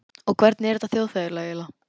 Og hvernig er þetta þjóðfélag eiginlega?